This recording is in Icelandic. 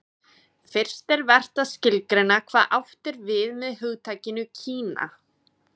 Fyrst er vert að skilgreina hvað átt er við með hugtakinu Kína.